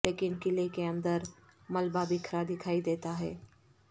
لیکن قلعے کے اندر ملبہ بکھرا دکھائی دیتا ہے